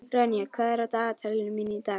Ronja, hvað er í dagatalinu mínu í dag?